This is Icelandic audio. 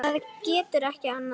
Það getur ekki annað verið.